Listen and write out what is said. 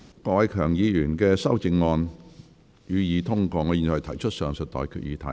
我現在向各位提出上述待決議題。